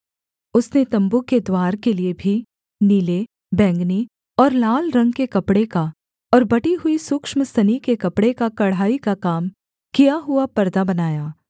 उसने तम्बू के द्वार के लिये भी नीले बैंगनी और लाल रंग के कपड़े का और बटी हुई सूक्ष्म सनी के कपड़े का कढ़ाई का काम किया हुआ परदा बनाया